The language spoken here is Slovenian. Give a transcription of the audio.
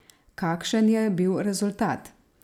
Kakšen je bil rezultat?